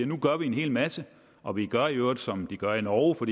nu gør vi en hel masse og vi gør i øvrigt som de gør i norge for